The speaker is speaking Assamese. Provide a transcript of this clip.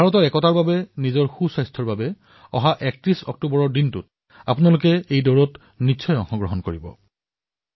মই আশা কৰিছো যে আপোনালোক সকলোৱে ৩১ অক্টোবৰ তাৰিখে নিশ্চয়কৈ দৌৰক ভাৰতৰ একতাৰ বাবে আৰু নিজৰ ফিটনেছৰ বাবেও